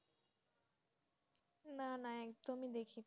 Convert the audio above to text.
না না একদমি দেখছি না